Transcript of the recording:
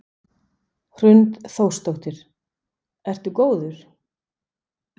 Hrund Þórsdóttir: Ertu góður?